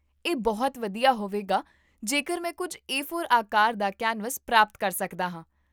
ਇਹ ਬਹੁਤ ਵਧੀਆ ਹੋਵੇਗਾ ਜੇਕਰ ਮੈਂ ਕੁੱਝ ਏ ਫੋਰ ਆਕਾਰ ਦਾ ਕੈਨਵਸ ਪ੍ਰਾਪਤ ਕਰ ਸਕਦਾ ਹਾਂ